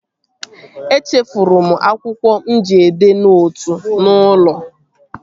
Echefuru m akwụkwọ mụ ji edee nootu n'ụlọ